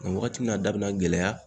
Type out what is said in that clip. Wagati min na a da bi na gɛlɛya